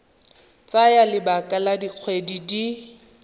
tsaya lebaka la dikgwedi di